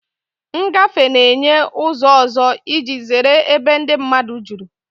Ngafe na-enye ụzọ ọzọ iji zere ebe ndị mmadụ juru.